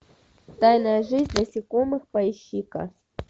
тайная жизнь насекомых поищи ка